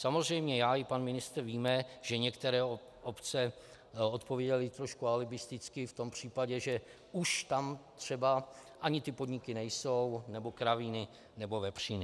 Samozřejmě já i pan ministr víme, že některé obce odpovídaly trošku alibisticky v tom případě, že už tam třeba ani ty podniky nejsou nebo kravíny nebo vepříny.